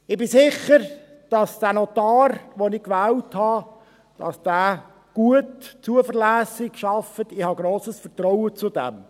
Ich bin sicher, dass der Notar, den ich gewählt habe, gut und zuverlässig arbeitet, ich habe grosses Vertrauen zu ihm.